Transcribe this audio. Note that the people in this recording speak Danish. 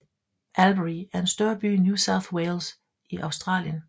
Albury er en større by i New South Wales i Australien